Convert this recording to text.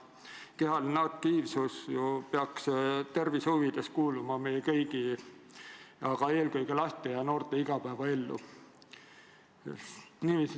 Kehaline aktiivsus peaks tervise huvides kuuluma ju meie kõigi, aga eelkõige laste ja noorte igapäevaellu.